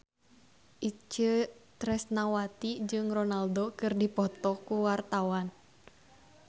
Itje Tresnawati jeung Ronaldo keur dipoto ku wartawan